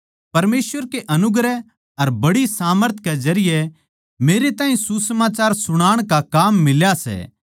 परमेसवर के अनुग्रह अर बड़ी सामर्थ के जरिये मेरे ताहीं सुसमाचार सुणाण का काम मिला सै